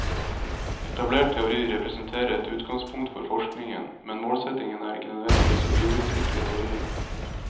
Etablert teori representerer et utgangspunkt for forskningen, men målsettingen er ikke nødvendigvis å videreutvikle teorien.